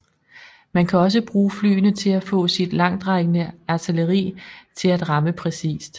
Man kan også bruge flyene til at få sit langtrækkende artilleri til at ramme præcist